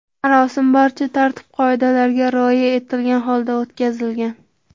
Marosim barcha tartib qoidalarga rioya etilgan holda o‘tkazilgan.